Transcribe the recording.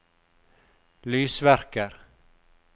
lysverker